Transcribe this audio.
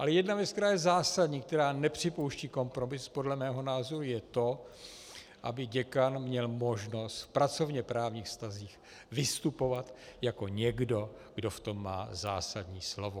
Ale jedna věc, která je zásadní, která nepřipouští kompromis, podle mého názoru je to, aby děkan měl možnost v pracovněprávních vztazích vystupovat jako někdo, kdo v tom má zásadní slovo.